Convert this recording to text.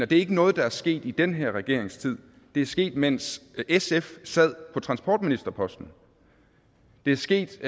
det er ikke noget der er sket i den her regerings tid det er sket mens sf sad på transportministerposten det er sket